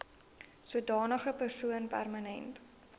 sodanige persoon permanent